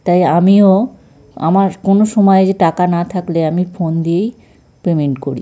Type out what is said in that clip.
তাই আমিও আমার কোনো সময় যে টাকা না থাকলে আমি ফোন দিয়েই পেমেন্ট করি।